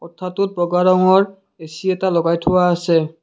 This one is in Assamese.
কোঠাটোত বগা ৰঙৰ এ_চি এটা লগাই থোৱা আছে।